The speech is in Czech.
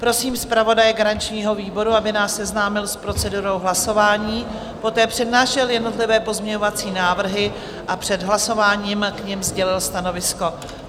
Prosím zpravodaje garančního výboru, aby nás seznámil s procedurou hlasování, poté přednášel jednotlivé pozměňovací návrhy a před hlasováním k nim sdělil stanovisko.